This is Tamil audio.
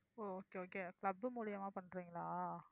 ஓ okay okayclub மூலியமா பண்றீங்களா?